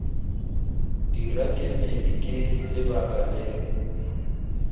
dira kemedi ke lebaka leo